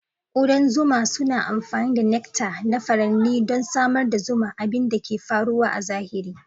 Kudan zuma suna amfani da nectar na furanni don samar da zuma, abin da ke faruwa a zahiri.